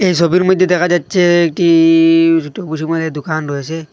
এই সবির মইধ্যে দেখা যাচ্ছে একটি একটি দোকান রয়েসে ।